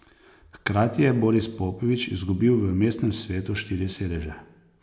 Hkrati je Boris Popovič izgubil v mestnem svetu štiri sedeže.